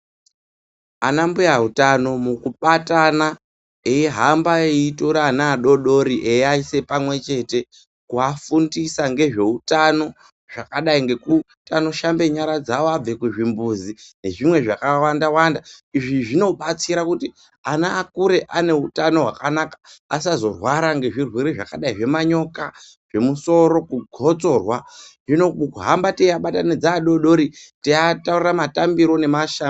Ana mbuya utano mukubatana eihamba eitora ana adodori eiasa pamwechete kuafundisa nezveutano zvakadai ngekuti anoshambe nyara dzawo abve kuzvimbuzi nezvimwe zvakawanda wanda , izvi zvinobatsira kuti ana akure ane utano hwakanaka asazorwara ngezvirwere zvakadei zvemanyoka, ngemusoro kugotsorwa hino kuhamba teiabatanidza teiataurira matambiro nemashambiro.